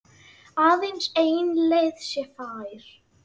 Aðeins ein leið sé fær.